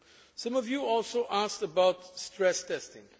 in Canada. Some of you also asked about stress